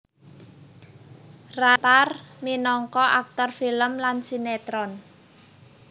Ray kawentar minangka aktor film lan sinétron